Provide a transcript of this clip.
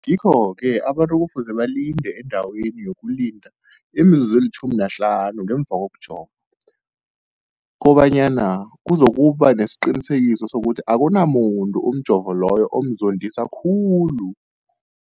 Ngikho-ke boke abantu kufuze balinde endaweni yokulinda imizuzu eli-15 ngemva kokujova, koba nyana kuzokuba nesiqiniseko sokuthi akunamuntu umjovo loyo omzondisa khulu.